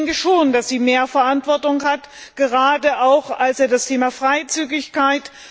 Ich denke schon, dass sie mehr Verantwortung hat, gerade auch beim Thema Freizügigkeit.